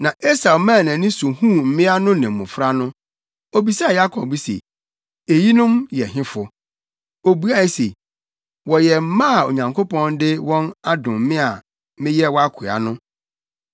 Na Esau maa nʼani so huu mmea no ne mmofra no. Obisaa Yakob se, “Eyinom yɛ hefo.” Obuae se, “Wɔyɛ mma a Onyankopɔn de wɔn adom me a meyɛ wʼakoa no.”